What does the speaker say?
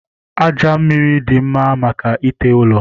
Aja mmiri dị mma maka ite ụlọ